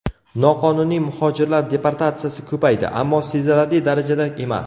Noqonuniy muhojirlar deportatsiyasi ko‘paydi, ammo sezilarli darajada emas.